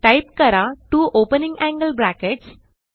type करा two opening angle brackets